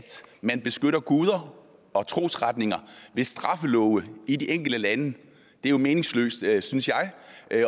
man beskytter guder og trosretninger ved straffelove i de enkelte lande det er jo meningsløst synes jeg